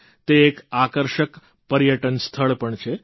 તે એક આકર્ષક પર્યટન સ્થળ પણ છે